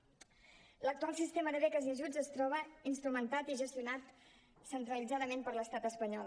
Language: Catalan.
l’actual sistema de beques i ajuts es troba instrumentat i gestionat centralitzadament per l’estat espanyol